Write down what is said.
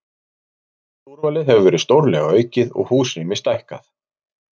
Vöruúrvalið hefur verið stórlega aukið og húsrými stækkað.